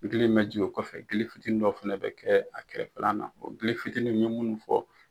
Ŋele min bɛ jingin o kɔfɛ, ŋele fitinin dɔ fɛnɛ bɛ kɛ a kɛrɛfɛlan na, ŋele fitinin me munnu fɔ.